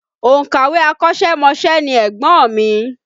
Òǹkàwé akọ́ṣẹ́mọṣẹ́ ni ẹ̀gbọ́n mi